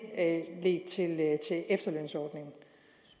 efterlønsordning